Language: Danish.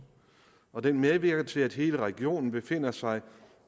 og den medvirker til at hele regionen befinder sig